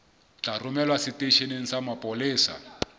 tla romelwa seteisheneng sa mapolesa